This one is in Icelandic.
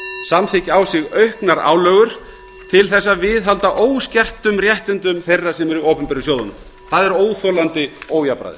samþykkja á sig auknar álögur til þess að viðhalda óskertum réttindum þeirra sem eru í opinberu sjóðunum það er óþolandi ójafnræði